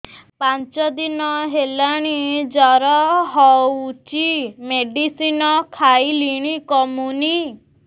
ପାଞ୍ଚ ଦିନ ହେଲାଣି ଜର ହଉଚି ମେଡିସିନ ଖାଇଲିଣି କମୁନି